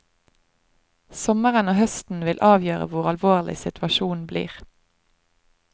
Sommeren og høsten vil avgjøre hvor alvorlig situasjonen blir.